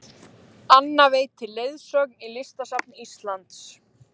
Anna veitir leiðsögn í Listasafni Íslands